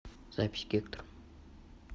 запись гектор